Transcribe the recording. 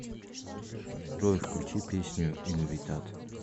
джой включи песню инвитат